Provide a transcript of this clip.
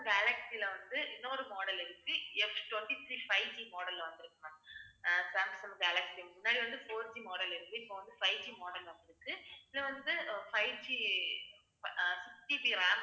கேலக்சில வந்து, இன்னொரு model இருக்கு. Ftwenty-three fiveGmodel ல வந்திருக்கு ma'am ஆஹ் சாம்சங் கேலக்சி, முன்னாடி வந்து fourGmodel இருக்கு. இப்ப வந்து, fiveGmodel ல வந்திருக்கு. இது வந்து fiveG அஹ் sixGBram